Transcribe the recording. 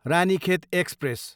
Ranikhet express